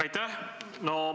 Aitäh!